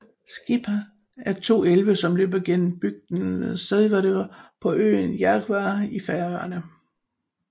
Skipá er to elve som løber gennem bygden Sørvágur på øenn Vágar i Færøerne